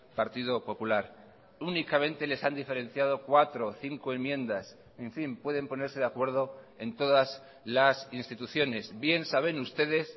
partido popular únicamente les han diferenciado cuatro cinco enmiendas en fin pueden ponerse de acuerdo en todas las instituciones bien saben ustedes